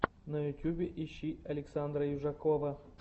на ютюбе ищи александра южакова